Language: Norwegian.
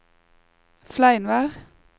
Fleinvær